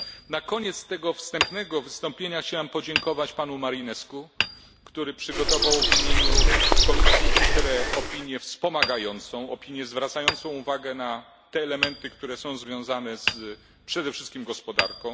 Na koniec tego wstępnego wystąpienia chciałem podziękować panu Marinescu, który przygotował, w imieniu komisji ITRE, opinię wspomagającą, w której zwrócił uwagę na elementy związane przede wszystkim z gospodarką.